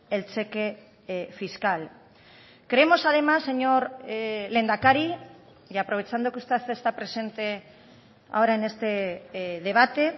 el cheque fiscal creemos además señor lehendakari y aprovechando que usted está presente ahora en este debate